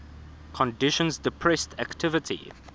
conditions depressed activity